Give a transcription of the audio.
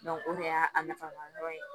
o de y'a nafa dɔ ye